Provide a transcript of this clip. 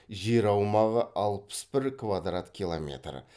жер аумағы алпыс бір квадрат километр